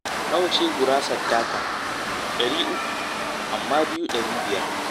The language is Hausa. Nawa ce gurasar taka? ɗari uku, amma biyu ɗari biyar.